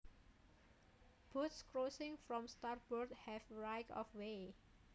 Boats crossing from starboard have right of way